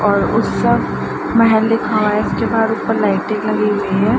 और उत्सव महल एक है इसके बाहर ऊपर लाइटे लगी हैं।